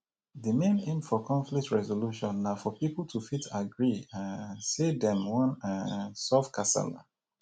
di main aim for conflict resolution na for pipo to fit agree um sey dem wan um solve kasala